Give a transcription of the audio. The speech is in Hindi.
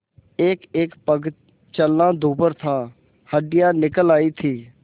एकएक पग चलना दूभर था हड्डियाँ निकल आयी थीं